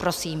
Prosím.